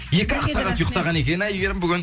екі ақ сағат ұйықтаған екен әйгерім бүгін